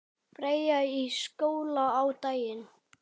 Freyja í skóla á daginn.